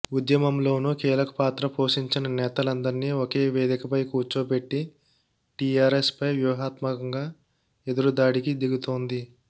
ఉద్యమంలోనూ కీలక పాత్ర పోషించిన నేతలందరినీ ఒకే వేదికపై కూర్చోపెట్టి టీఆర్ఎస్పై వ్యూహాత్మకంగా ఎదురుదాడికి దిగుతోంది